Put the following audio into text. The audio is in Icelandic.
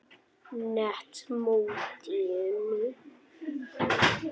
net mótinu?